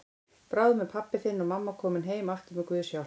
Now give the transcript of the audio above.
Bráðum eru pabbi þinn og mamma komin heim aftur með Guðs hjálp.